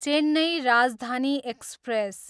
Chennai Rajdhani express